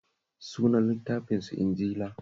Sunan littafinsu Linjila